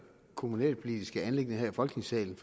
kommunalpolitiske anliggende her i folketingssalen